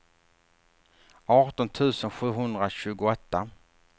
arton tusen sjuhundratjugoåtta